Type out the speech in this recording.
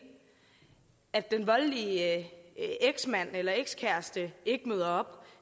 at den voldelige eksmand eller ekskæreste ikke møder